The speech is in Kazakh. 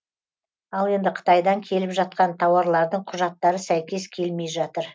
ал енді қытайдан келіп жатқан тауарлардың құжаттары сәйкес келмей жатыр